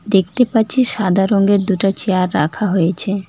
দেখতে পাচ্ছি সাদা রঙ্গের দুটা চেয়ার রাখা হয়েছে।